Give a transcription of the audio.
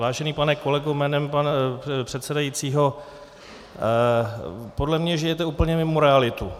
Vážený pane kolego jménem pana předsedajícího, podle mě žijete úplně mimo realitu.